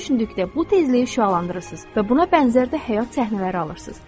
düşündükdə bu tezliyi şüalandırırsız və buna bənzər də həyat səhnələri alırsız.